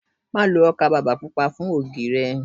Má lo ọkà bàbà Pupa fún ògì rẹ.